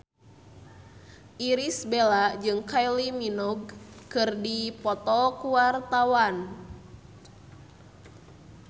Irish Bella jeung Kylie Minogue keur dipoto ku wartawan